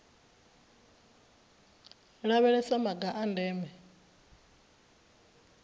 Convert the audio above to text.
lavhelesa maga a ndeme a